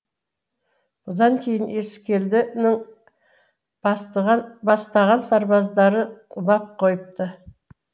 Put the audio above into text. бұдан кейін ескелдінің бастаған сарбаздары лап қойыпты